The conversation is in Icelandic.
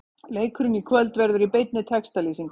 Leikurinn í kvöld verður í beinni textalýsingu.